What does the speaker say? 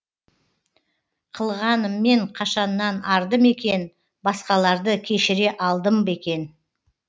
қылғаныммен қашаннан арды мекен басқаларды кешіре алдым бекен